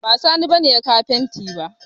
Ba Sani ba ne ya kawo fenti ba